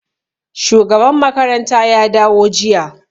Shugaban makaranta ya dawo jiya.